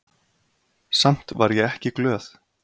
Samt var ég ekki glöð.